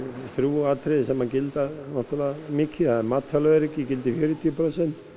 þrjú atriði sem gilda náttúrulega mikið mataröryggi gildir fjörutíu prósent